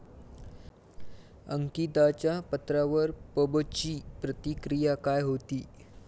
अंकिताच्या पत्रावर पबची प्रतिक्रिया काय होती?